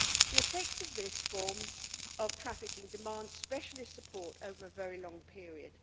The effects of this form of trafficking demand specialist support over a very long period.